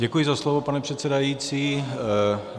Děkuji za slovo, pane předsedající.